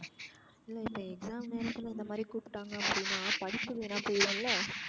இல்ல இப்ப exam நேரத்துல இந்த மாதிரி கூப்ட்டாங்க அப்டினா படிப்பு வீணா போயிரும்ல.